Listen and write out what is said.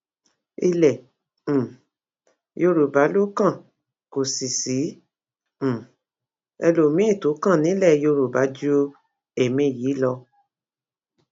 ilẹ um yorùbá ló kàn kò sì sí um ẹlòmíín tó kàn nílẹ yorùbá ju ẹmí yìí lọ